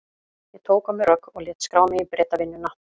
Ég tók á mig rögg og lét skrá mig í Bretavinnuna.